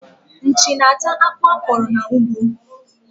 Nchi na-ata akpụ a kọrọ n'ugbo.